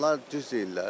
Onlar düz deyirlər.